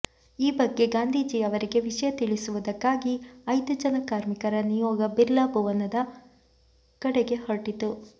ಈ ಬಗ್ಗೆ ಗಾಂಧೀಜಿಯವರಿಗೆ ವಿಷಯ ತಿಳಿಸುವುದಕ್ಕಾಗಿ ಐದು ಜನ ಕಾರ್ಮಿಕರ ನಿಯೋಗ ಬಿರ್ಲಾ ಭವನದ ಕಡೆಗೆ ಹೊರಟಿತು